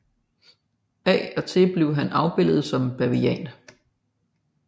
Af og til blev han afbildet som en bavian